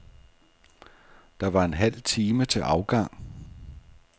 Der var en halv time til afgang.